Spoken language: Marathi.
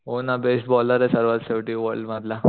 हो ना बेस्ट बॉलर शेवटी वर्ल्ड मधला